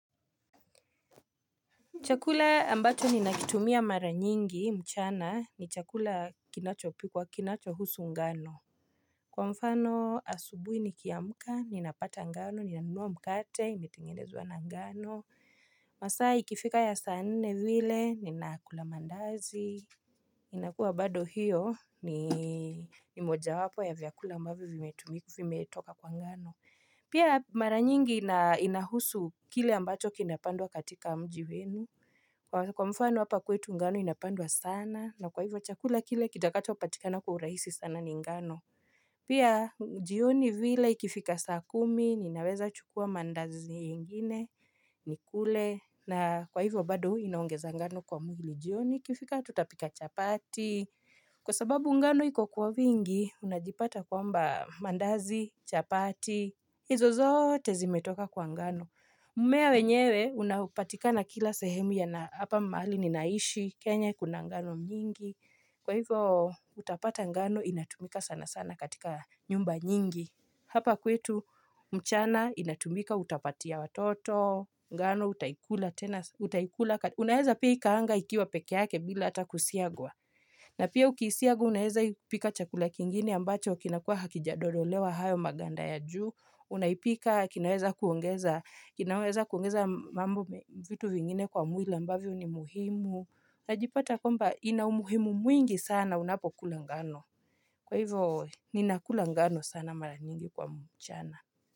Chakula ambacho ninakitumia mara nyingi mchana ni chakula kinachopikwa kinachohusu ngano. Kwa mfano asubuhi nikiamka, ninapata ngano, ninanunua mkate, imetengenezwa na ngano. Masaa ikifika ya saa nne vile, ninakula mandazi. Ninakuwa bado hiyo ni moja wapo ya vyakula ambavyo vimetumika vimetoka kwa ngano. Pia mara nyingi inahusu kile ambacho kinapandwa katika mji wenu. Kwa mfano hapa kwetu ngano inapandwa sana na kwa hivyo chakula kile kitakachopatikana kwa urahisi sana ni ngano. Pia jioni vile ikifika saa kumi ninaweza chukua mandazi ingine nikule na kwa hivyo bado inaongeza ngano kwa mwili. Jioni ikifika tutapika chapati. Kwa sababu ngano iko kuwa wingi unajipata kwamba mandazi chapati. Hizo zote zimetoka kwa ngano. Mmea wenyewe unapatika na kila sehemu ya na hapa mahali ninaishi, kenya kuna ngano nyingi, kwa hivyo utapata ngano inatumika sana sana katika nyumba nyingi. Hapa kwetu mchana inatumika utapatia watoto, ngano utaikula tena, utaikula, unaeza pia ikaanga ikiwa pekee yake bila ata kusiagwa. Na pia ukiisiaga unaeza ipika chakula kingine ambacho kinakuwa hakijadodolewa hayo maganda ya juu. Unaipika, kinaweza kuongeza mambo vitu vingine kwa mwili ambavyo ni muhimu. Najipata kwamba ina umuhimu mwingi sana unapokula ngano. Kwa hivyo ninakula ngano sana mara nyingi kwa mchana.